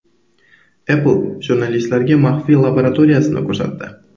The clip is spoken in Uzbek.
Apple jurnalistlarga maxfiy laboratoriyasini ko‘rsatdi.